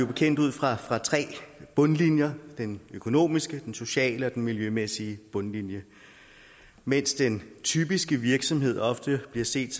bekendt ud fra tre bundlinjer den økonomiske den sociale og den miljømæssige bundlinje mens den typiske virksomhed ofte bliver set